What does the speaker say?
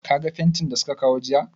Ka ga fentin da su ka kawo jiya?